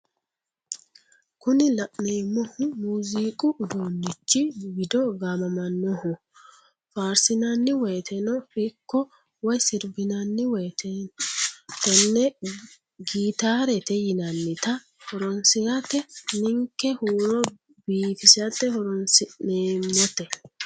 Kuni la'neemohu muziiqu uduunichi wido gaamamannohu faarsinanni woyeeteno ikko woye sirbinanni woyiite tenne gitaarete yinannita horonsirate ninke huuro biifisate horonsi'neemote.